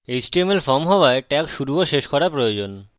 এটি html form হওয়ায় tag শুরু এবং শেষ করা প্রয়োজন